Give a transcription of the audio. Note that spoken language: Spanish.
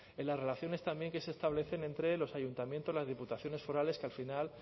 en las relaciones también que se establecen entre los ayuntamientos las diputaciones forales que al final